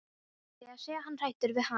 Líklega sé hann hræddur við hana.